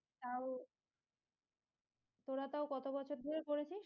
উম তোরা তাও কত বছর ধরে করেছিস